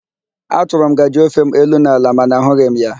A chọrọ m ngajị ofem elu na ala mana ahụghị m ya.